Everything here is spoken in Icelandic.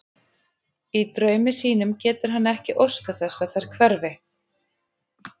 Í draumi sínum getur hann ekki óskað þess þær hverfi.